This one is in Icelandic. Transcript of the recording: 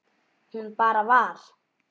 Hún bara var.